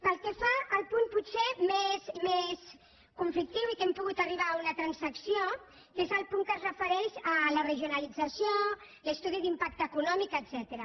pel que fa al punt potser més conflictiu i en què hem pogut arribar a una transacció que és el punt que es refereix a la regionalització l’estudi d’impacte econòmic etcètera